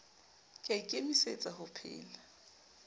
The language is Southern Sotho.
ke a ikemisetsa ho pheha